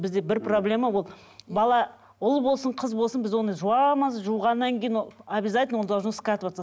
бізде бір проблема ол бала ұл болсын қыз болсын біз оны жуамыз жуғаннан кейін объязательно он должен скатываться